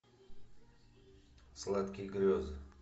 сладкие грезы